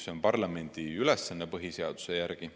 See on parlamendi ülesanne põhiseaduse järgi.